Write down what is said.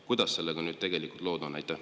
Kuidas sellega nüüd tegelikult lood on?